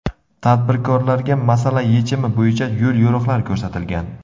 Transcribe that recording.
Tadbirkorlarga masala yechimi bo‘yicha yo‘l-yo‘riqlar ko‘rsatilgan.